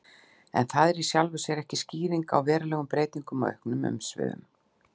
En það er í sjálfu sér ekki skýring á verulegum breytingum og auknum umsvifum.